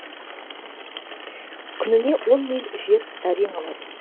күніне он миль жер әрең алады